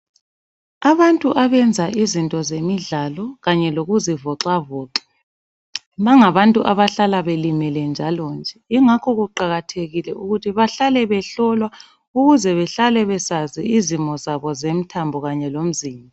Abantu abenza izinto zemidlalo Kanye lokuzivoxavoxa bangabantu abahlala belimele njalonje yingakho kuqakathekile ukuthi bahlale behlolwa ukuze behlale besazi izimo zabo zomthambo Kanye lomzimba